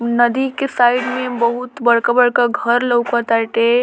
नदी के साइड में बहुत बड़का-बड़का घर लोक ताटे।